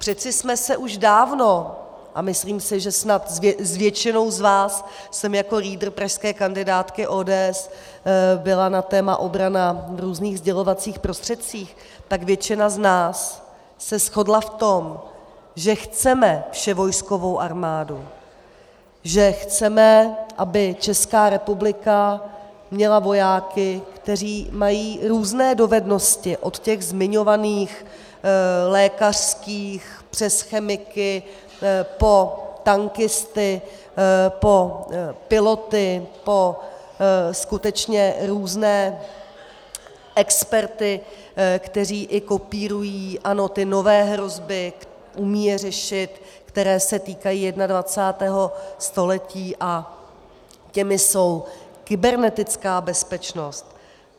Přece jsme se už dávno, a myslím si, že snad s většinou z vás jsem jako lídr pražské kandidátky ODS byla na téma obrana v různých sdělovacích prostředcích, tak většina z nás se shodla v tom, že chceme vševojskovou armádu, že chceme, aby Česká republika měla vojáky, kteří mají různé dovednosti, od těch zmiňovaných lékařských přes chemiky po tankisty, po piloty, po skutečně různé experty, kteří i kopírují, ano, ty nové hrozby, umí je řešit, které se týkají 21. století, a těmi jsou kybernetická bezpečnost.